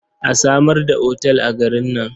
A samar da otal a garin nan.